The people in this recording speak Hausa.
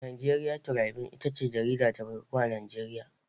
Nigeria Tribune ita ce jarida ta farko a Najeriya.